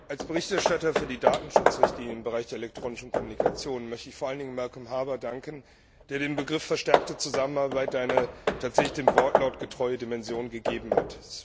Als Berichterstatter für die Datenschutzrichtlinie im Bereich der elektronischen Kommunikation möchte ich vor allen Dingen Malcolm Harbour danken, der dem Begriff verstärkte Zusammenarbeit eine tatsächlich dem Wortlaut getreue Dimension gegeben hat.